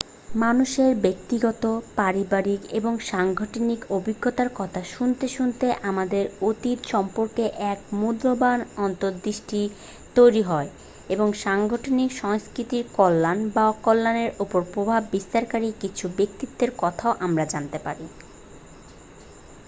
মানুষের ব্যক্তিগত পারিবারিক এবং সাংগঠনিক অভিজ্ঞতার কথা শুনতে শুনতে আমাদের অতীত সম্পর্কে এক মূল্যবান অন্তঃদৃষ্টি তৈরি হয় এবং সাংগঠনিক সংস্কৃতির কল্যাণ বা অকল্যাণের উপর প্রভাব বিস্তারকারী কিছু ব্যক্তিত্বের কথাও আমরা জানতে পারি